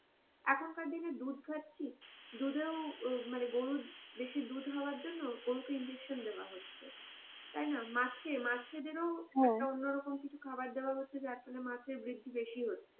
এখন কার দিনে দিনে দুধ খাচ্ছি দুধেও মানে গরুর বেশি দুধ হওয়ার জন্যে গরু কে ইনজেকশন দেয়া হচ্ছে তাইনা? মাছে মাছে দের ও একটা অন্যরকম কিছু খাবার দেয়া হচ্ছে যারফলে মাছ এর বৃদ্ধি বেশি পাচ্ছে।